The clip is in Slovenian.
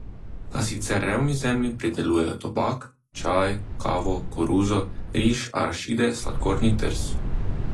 Na sicer revni zemlji pridelujejo tobak, čaj, kavo, koruzo, riž, arašide, sladkorni trs.